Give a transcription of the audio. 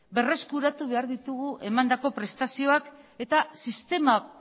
berreskuratu behar ditugu emandako prestazioak eta sistema